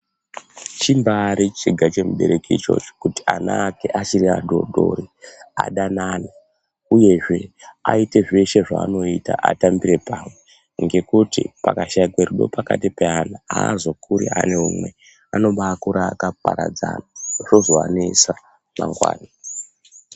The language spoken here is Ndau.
Chimbaari chiga chemubereki ichocho kuti ana ake achiri adodori adanane uyezve aite zveshe zvaanoita atambire pamwe ngekuti pakashaikwe rudo pakati peana aazokuri ane umwe, anobaakura akaparadzana zvozoanesa mangwani.